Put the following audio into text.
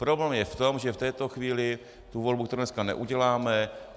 Problém je v tom, že v této chvíli tu volbu tu dneska neuděláme.